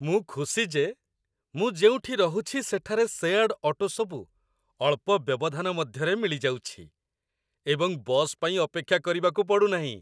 ମୁଁ ଖୁସି ଯେ ମୁଁ ଯେଉଁଠି ରହୁଛି ସେଠାରେ ସେୟାର୍ଡ ଅଟୋସବୁ ଅଳ୍ପ ବ୍ୟବଧାନ ମଧ୍ୟରେ ମିଳିଯାଉଛି ଏବଂ ବସ୍ ପାଇଁ ଅପେକ୍ଷା କରିବାକୁ ପଡ଼ୁ ନାହିଁ।